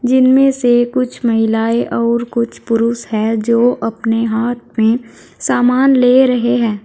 इनमें से कुछ महिलाएं और कुछ पुरुष है जो अपने हाथ में सामान ले रहे हैं।